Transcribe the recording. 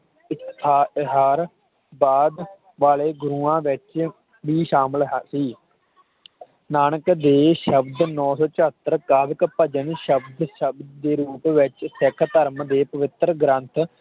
ਤੇ ਤੇਹਾਰ ਵਾਲੇ ਗੁਰੂਆਂ ਵਿਚ ਵੀ ਸ਼ਾਮਿਲ ਹੈ ਸੀ ਨਾਨਕ ਦੇ ਸ਼ਬਦ ਨੌ ਸੌ ਚੌਹਤਰ ਗਰਕ ਭਜਨ ਸ਼ਬਦ ਸ਼ਬਦ ਦੇ ਰੂਪ ਵਿਚ ਸਿਹਕ ਧਰਮ ਦੇ ਪਵਿੱਤਰ ਗ੍ਰੰਥ